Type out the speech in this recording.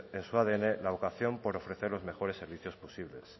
en su adn la vocación por ofrecer los mejores servicios posibles